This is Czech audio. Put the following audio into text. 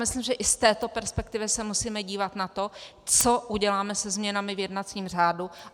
Myslím, že i z této perspektivy se musíme dívat na to, co uděláme se změnami v jednacím řádu.